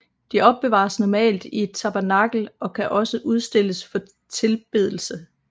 De opbevares normalt i et tabernakel og kan også udstilles for tilbedelse